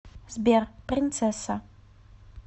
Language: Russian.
сбер принцесса